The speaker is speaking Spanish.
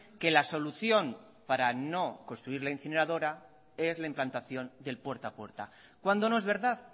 que la solución para no construir la incineradora es la implantación del puerta a puerta cuando no es verdad